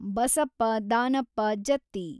Basappa Danappa Jatti